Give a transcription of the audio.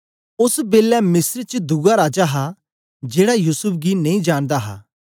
ओस बेलै मिस्र च दुआ राजा हा जेड़ा युसूफ गी नेई जानदा हा